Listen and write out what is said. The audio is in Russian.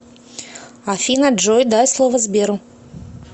афина джой дай слово сберу